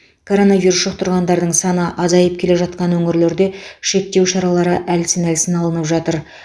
коронавирус жұқтырғандардың саны азайып келе жатқан өңірлерде шектеу шаралары әлсін әлсін алынып жатыр